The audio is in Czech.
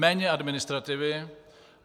Méně administrativy.